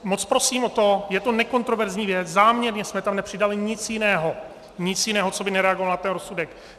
Moc prosím o to, je to nekontroverzní věc, záměrně jsme tam nepřidali nic jiného, nic jiného, co by nereagovalo na ten rozsudek.